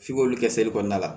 F'i k'olu kɛ kɔnɔna la